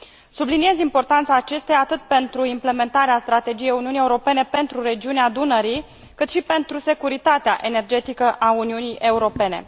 Subliniez importanța acesteia atât pentru implementarea Strategiei Uniunii Europene pentru regiunea Dunării, cât și pentru securitatea energetică a Uniunii Europene.